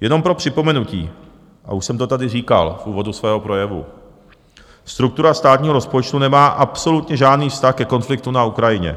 Jenom pro připomenutí, a už jsem to tady říkal v úvodu svého projevu, struktura státního rozpočtu nemá absolutně žádný vztah ke konfliktu na Ukrajině,